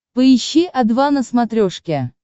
поищи о два на смотрешке